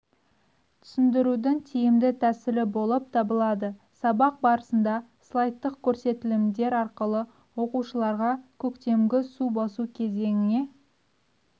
түсіндірудің тиімді тәсілі болып табылады сабақ барысында слайдтық көрсетілімдер арқылы оқушыларға көктемгі су басу кезеңіне